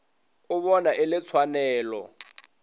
o bona e le tshwanelo